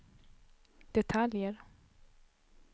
detaljer